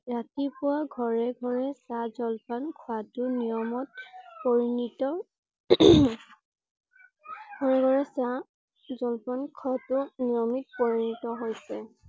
ৰাতিপুৱা ঘৰে ঘৰে চাহ জলপান খোৱা টো নিয়মত পৰিণত জলপান খোৱা টো নিয়মত পৰিণত হৈছে।